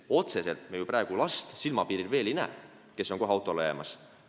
Me ju praegu silmapiiril veel ei näe last, kes on kohe auto alla jäämas.